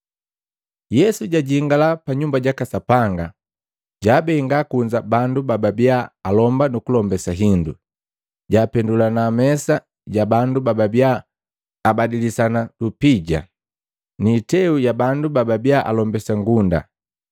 Yesu jwajingala pa Nyumba jaka Sapanga, jwaabenga kunza bandu bababia alomba nuku lombesa hindu. Jwapendula mesa ja bandu bababia aba abadisani lupija, niiteu ya bandu baabia alombesa ngunda.